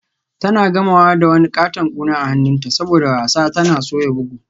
Tana gamawa da wani katon kuna a hannunta saboda wasa tana soya bugu.